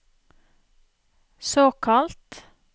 såkalt